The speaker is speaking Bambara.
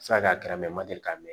A bɛ se ka kɛra mɛtiri k'a mɛn